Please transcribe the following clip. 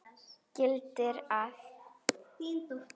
gildir að